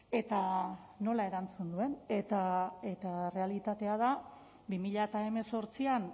eta nola erantzun duen eta errealitatea da bi mila hemezortzian